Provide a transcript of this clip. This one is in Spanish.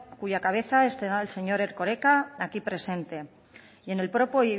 cuya cabeza es el señor erkoreka aquí presente y en el propio